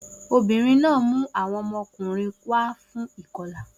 Obìnrin náà mú àwọn ọmọkùnrin wá fún ìkọlà